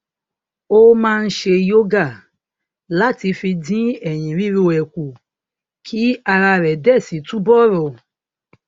ó máa ń ṣe yoga láti fi dín èyìn ríro ẹ kù kí ara rè dẹ si túbò rò